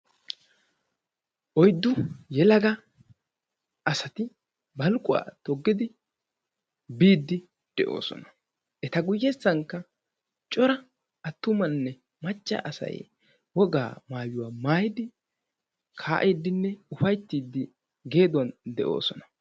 Oyddu yelaga asati baluquwaa toggidi biiddi de'oosona. Eta guyyessankka cora attumanne macca asay wogaa maayuwa maayidi kaa"iiddinne ufayttiiddi geeduwan de'oosona.